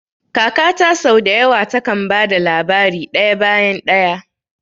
Kakata sau da yawa takan ba da labari daya bayan daya.